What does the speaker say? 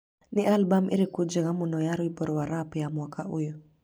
Nĩ albamu ĩrĩkũ njega mũno ya rwĩmbo rwa rap ya mwaka ũyũ?